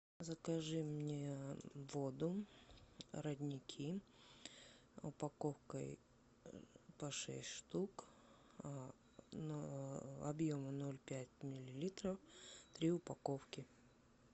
закажи мне воду родники упаковкой по шесть штук на объемом ноль пять миллилитров три упаковки